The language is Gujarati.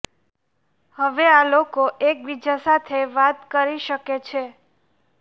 હવે આ લોકો એકબીજા સાથે વાત કરી શકે છે